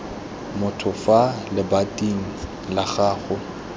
motho fa lebating la gago